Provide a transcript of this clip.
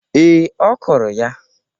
Ee, ọ kụrụ ha